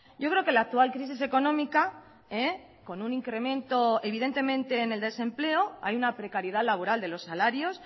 yo creo que la actual crisis económica con un incremento evidentemente en el desempleo hay una precariedad laboral de los salarios